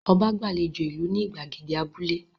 Ọba gbàlejò ìlú ní ìgbàgede abúlé?